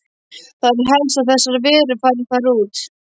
Það er helst að þessar verur fari þar út.